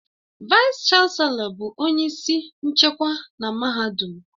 Vaịs-Chanelọ bụ onye isi nchịkwa na mahadum